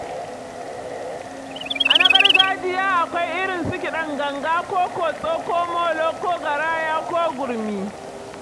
A na gargajiya akwai irin su kiɗan ganga ko kotso ko molo ko garaya ko gurmi.